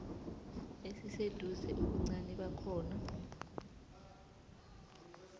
esiseduze ubuncani bakhona